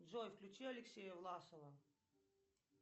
джой включи алексея власова